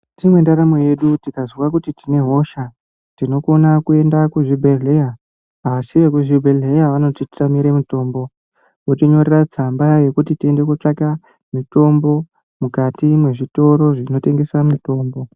Mukati mwendaramo yedu tikazwa kuti tine hosha tinokona kuenda kuzvubhedhleya, asi vekuzvibhedhleya vanotitamira mitombo votinyoreta tsamba yekuti tindotsvaka mitombo mukati mwezvitoro zvinotengesa mitombo.